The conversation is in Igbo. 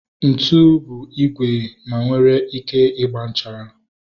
Ntụ bụ igwe ma onwere ike ịgba nchara